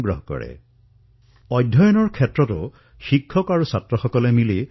এই সময়ছোৱাত অধ্যয়নৰ ক্ষেত্ৰতো বহু ভিন্ন ভিন্ন উদ্ভাৱন শিক্ষক আৰু শিক্ষাৰ্থীসকলে মিলি কৰিবলৈ ধৰিছে